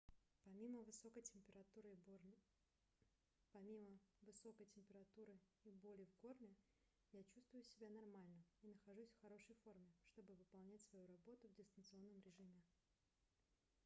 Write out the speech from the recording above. помимо высокой температуры и боли в горле я чувствую себя нормально и нахожусь в хорошей форме чтобы выполнять свою работу в дистанционном режиме